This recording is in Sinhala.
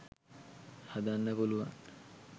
හදන්න පුළුවන්.